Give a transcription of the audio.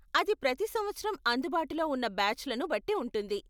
అది ప్రతి సంవత్సరం అందుబాటులో ఉన్న బ్యాచ్లను బట్టి ఉంటుంది.